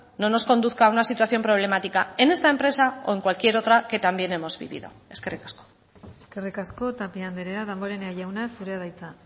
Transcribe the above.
no nos conduzca a una situación problemática en esta empresa o en cualquier otra que también hemos vivido eskerrik asko eskerrik asko tapia andrea damborenea jauna zurea da hitza